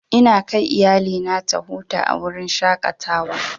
Ina kai iyalina ta huta a wurin shaƙatawa.